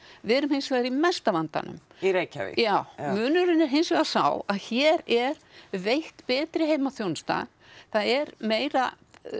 við erum hins vegar í mesta vandanum í Reykjavík já munurinn er hins vegar sá að hér er veitt betri heimaþjónusta það er meira